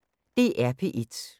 DR P1